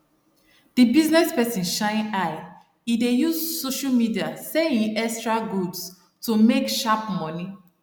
the business person shine eye e dey use social media sell hin extra goods to make sharp money